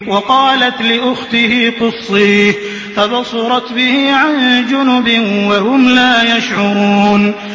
وَقَالَتْ لِأُخْتِهِ قُصِّيهِ ۖ فَبَصُرَتْ بِهِ عَن جُنُبٍ وَهُمْ لَا يَشْعُرُونَ